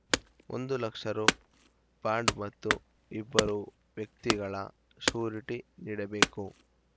ಒಂದು ಲಕ್ಷ ರು ಬಾಂಡ್‌ ಮತ್ತು ಇಬ್ಬರು ವ್ಯಕ್ತಿಗಳ ಶ್ಯೂರಿಟಿ ನೀಡಬೇಕು